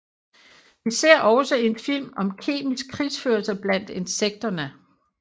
Vi ser også en film om kemisk krigsførelse blandt insekterne